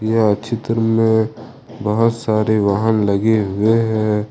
यह चित्र में बहुत सारे वहान लगी हुए हैं।